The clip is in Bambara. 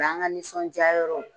N'an ka nisɔndiyayɔrɔw